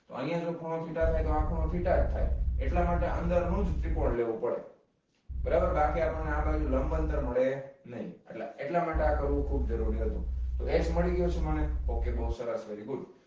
તો આની અંદર ખૂણો theta થાય તો આ ખુણો theta જ થાય એટલા માટે અંદર નુજ ત્રિકોણ લેવું પડે બરાબર બાકી આપણને આ બાજૂ લંબ અંતર મળે નઈ એટલે એટલા માટે આ કરવું ખૂબ જ જરૂરી હતુ તો h મળી ગયો છે મને ok બહુ સરસ very good